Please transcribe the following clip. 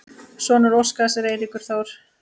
Sonur Óskars er Eiríkur Þór.